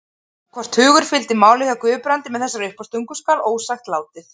Hvort hugur fylgdi máli hjá Guðbrandi með þessari uppástungu skal ósagt látið.